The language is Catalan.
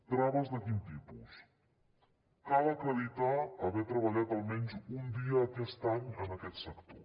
traves de quin tipus cal acreditar haver treballat almenys un dia aquest any en aquest sector